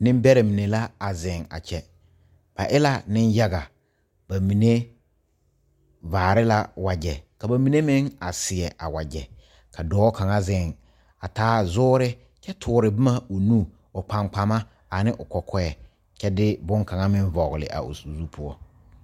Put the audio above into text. Nebɛrɛ mene la a zeŋ a kyɛ. Ba e la ne yaga. Ba mene vaare la wagye. Ka ba mene meŋ a seɛ a wagye. Ka dɔɔ kanga zeŋ a taa zoore kyɛ ture boma o nu, o kpakpama, ane o kɔkɔe. Kyɛ de boŋ kanga meŋ vogle a o zu poʊ.